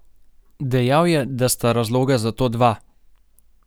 Dejal je, da sta razloga za to dva.